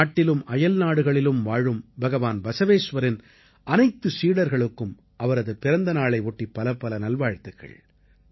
நாட்டிலும் அயல்நாடுகளிலும் வாழும் பகவான் பஸவேஸ்வரின் அனைத்து சீடர்களுக்கும் அவரது பிறந்தநாளை ஒட்டி பலப்பல நல்வாழ்த்துக்கள்